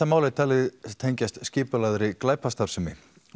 málið er talið tengjast skipulagðri glæpastarfsemi